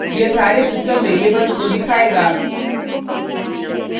यह सारे system variables को दिखायेगा